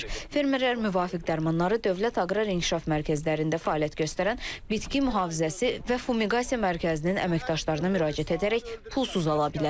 Fermerlər müvafiq dərmanları Dövlət Aqrar İnkişaf mərkəzlərində fəaliyyət göstərən bitki mühafizəsi və fumigasiya mərkəzinin əməkdaşlarına müraciət edərək pulsuz ala bilərlər.